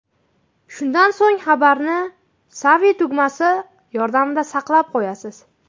Shundan so‘ng xabarni Save tugmasi yordamida saqlab qo‘yasiz.